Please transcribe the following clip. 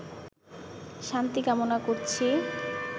শান্তি কামনা করছি